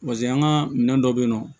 Pase an ka minɛn dɔ bɛ yen nɔ